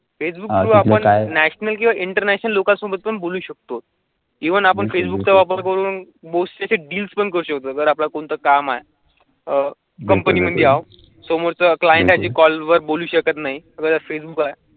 फेसबुकवर आपण शनल किव्वा इंटरनॅशनल लोका सबोथ पॅन बोलू शकतो. इव्हन आपण फेसबुकचा वापर करून भोस डील्स पण करू शकतो जर आपण कोणतं काम आहे. आह कंपनी क्लायंट कॉलवर बोलू शकत नाही फेसबुक आहे.